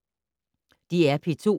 DR P2